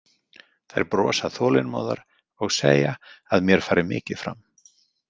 Þær brosa þolinmóðar og segja að mér fari mikið fram.